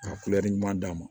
Ka ɲuman d'a ma